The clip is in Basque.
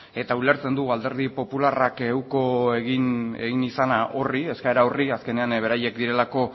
eta ulertzen dugu alderdi popularrak uko egin izana eskaera horri azkenean beraiek direlako